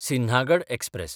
Sinhagad express